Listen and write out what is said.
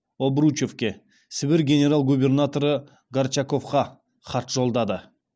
обручевке сібір генерал губернаторы горчаковқа хат жолдады